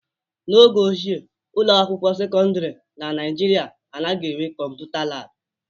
N'oge ochie, ụlọ akwụkwọ sekọndrị na Nigeria anaghị enwe kọmputa laabụ.